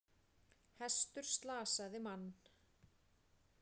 Hestur slasaði mann